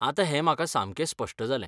आतां हें म्हाका सामकें स्पश्ट जालें.